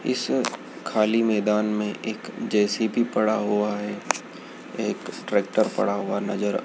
इस खाली मैदान में एक जे_सी_बी पडा हुआ है एक ट्रैक्टर पड़ा हुआ नजर--